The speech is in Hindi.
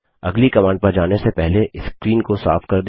अगली कमांड पर जाने से पहले स्क्रीन को साफ कर दें